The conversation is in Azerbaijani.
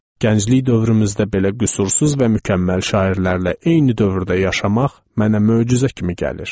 Gənclik dövrümüzdə belə qüsursuz və mükəmməl şairlərlə eyni dövrdə yaşamaq mənə möcüzə kimi gəlir.